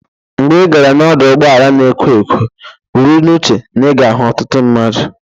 Mgbe ị gara n'ọdụ ụgbọala na-ekwo ekwo, buru n'uche na ị ga-ahụ ọtụtụ mmadụ.